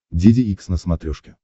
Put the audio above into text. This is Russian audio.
деде икс на смотрешке